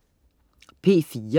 P4: